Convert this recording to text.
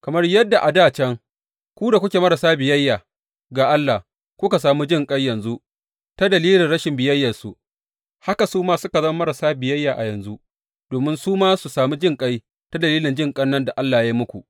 Kamar yadda a dā can ku da kuke marasa biyayya ga Allah kuka sami jinƙai yanzu ta dalilin rashin biyayyarsu, haka su ma suka zama marasa biyayya a yanzu domin su ma su sami jinƙai ta dalilin jinƙan da Allah ya yi muku.